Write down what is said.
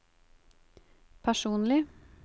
personlig